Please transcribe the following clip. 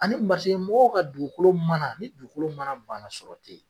Ani maseke mɔgɔw ka dugukolo mana ni dugukolo mana banna sɔrɔ te yen